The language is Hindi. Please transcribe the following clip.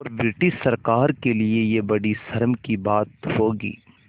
और ब्रिटिश सरकार के लिये यह बड़ी शर्म की बात होगी